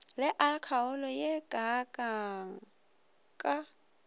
le alkoholo ye kaakang ka